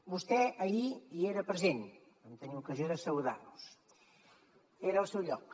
vostè ahir hi era present vam tenir ocasió de saludar nos era al seu lloc